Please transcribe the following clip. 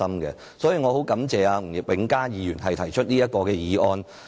我十分感謝吳永嘉議員提出這項議案。